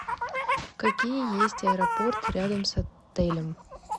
какие есть аэропорты рядом с отелем